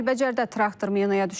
Kəlbəcərdə traktor minaya düşüb.